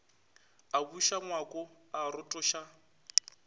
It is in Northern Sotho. a buša ngwako a rotoša